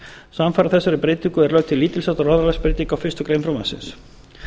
samfara þessari breytingu er lögð til lítils háttar orðalagsbreyting á fyrstu grein frumvarpsins